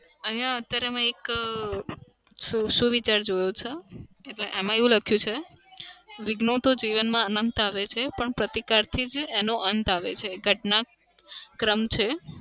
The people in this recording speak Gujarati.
અહીંયા અત્યારે મેં એક અમ સુ સુવિચાર જોયો છે. એટલે એમાં લખ્યું છે વિઘ્નો તો જીવનમાં અનંત આવે છે પણ પ્રતિકારથી જ એનો અંત આવે છે ઘટના ક્રમ છે.